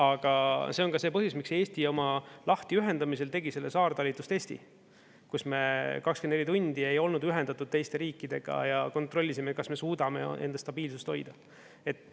Aga see on ka see põhjus, miks Eesti oma lahtiühendamisel tegi selle saartalitlustesti, kus me 24 tundi ei olnud ühendatud teiste riikidega ja kontrollisime, kas me suudame enda stabiilsust hoida.